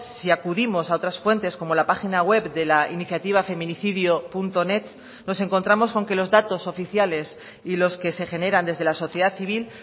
si acudimos a otras fuentes como la página web de la iniciativa feminicidionet nos encontramos con que los datos oficiales y los que se generan desde la sociedad civil